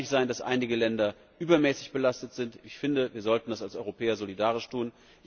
Es kann nicht sein, dass einige Länder übermäßig belastet werden. Ich finde, wir sollten hier als Europäer solidarisch sein.